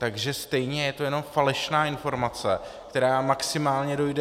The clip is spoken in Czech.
Takže stejně je to jenom falešná informace, která vás maximálně zmate.